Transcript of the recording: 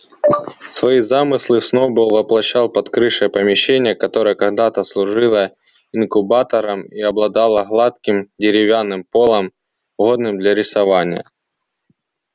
свои замыслы сноуболл воплощал под крышей помещения которое когда-то служило инкубатором и обладало гладким деревянным полом годным для рисования